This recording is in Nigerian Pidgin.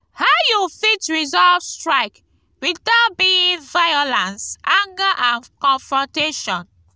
how you fit resolve strike without being violance anger and confrontation?